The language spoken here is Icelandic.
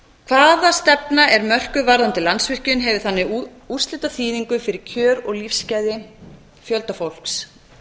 hvaða stefna er mörkuð varðandi landsvirkjun hefur þannig úrslitaþýðingu fyrir kjör og lífsgæði fjölda fólks